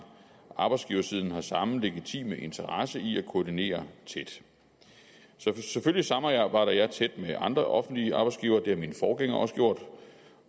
arbejdsgiversiden har samme legitime interesse i at koordinere tæt så selvfølgelig samarbejder jeg tæt med andre offentlige arbejdsgivere det har min forgænger også gjort